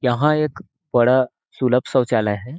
यहाँ एक बड़ा सुलभ शौचालय है।